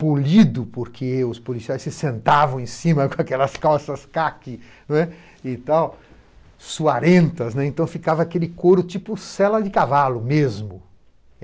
polido, porque os policiais se sentavam em cima com aquelas calças caqui, não é? E tal. Suarentas, né, então ficava aquele couro tipo sela de cavalo mesmo.